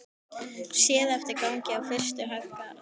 Séð eftir gangi á fyrstu hæð Garðs.